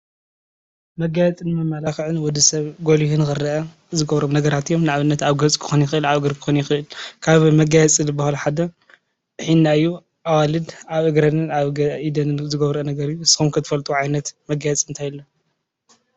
መጋየፂን መመላኽዕን ወዲሰብ ጎሊሁ ንክረአ ዝገብሮም ነገራት እዮም። ንአብነት አብ ገፅ ክኾን ይኽእል፣ ኣብ እግሪ ክኾን ይኽእል። ካብ መጋየፂን ዝበሃሉ ሓደ ሒና እዩ። አዋልድ አብ እግረንን አብ ኢደንን ዘገብርኦ ነገር እዩ። ንስኹም ከ ትፈልጥዎ ዓይነቱ መጋየፂ እንታይ አሎ?